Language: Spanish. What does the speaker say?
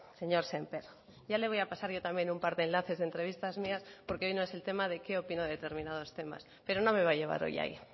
señor sémper ya le voy a pasar yo también un par de enlaces de entrevistas mías porque hoy no es el tema de qué opino de determinados temas pero no me va a llevar hoy ahí